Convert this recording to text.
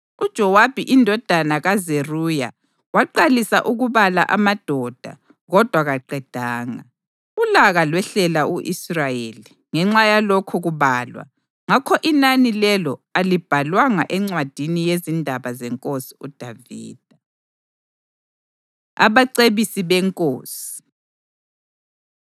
UJowabi indodana kaZeruya waqalisa ukubala amadoda kodwa kaqedanga. Ulaka lwehlela u-Israyeli ngenxa yalokho kubalwa ngakho inani lelo alibhalwanga encwadini yezindaba zeNkosi uDavida. Abacebisi BeNkosi